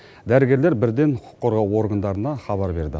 дәрігерлер бірден құқық қорғау органдарына хабар берді